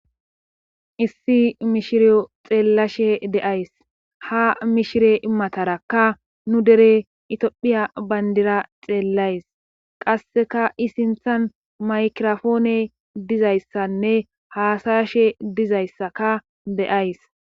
issi mishiriyo xeellashe de'ays ha mishire matarakanu dere itiophiya bayndira xeellays qasseka i sinthan maykirofoone dizayssanne haasayashe dizayssaka be7ays